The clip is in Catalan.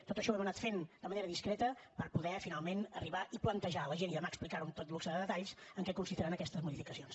tot això ho hem anat fent de manera discreta per poder finalment arribar i plantejar a la gent i demà explicar ho amb tot luxe de detalls en què consistiran aquestes modificacions